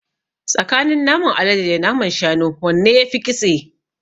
Tsakanin naman alade da naman shanu wanne yafi ƙitse?